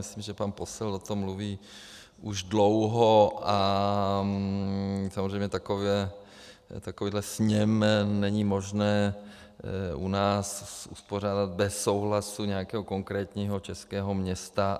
Myslím, že pan Posselt o tom mluví už dlouho, a samozřejmě takovýhle sněm není možné u nás uspořádat bez souhlasu nějakého konkrétního českého města.